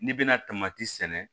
N'i bɛna sɛnɛ